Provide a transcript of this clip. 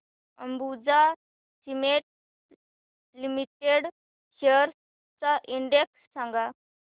Ambuja cement limited shares चा index सांगा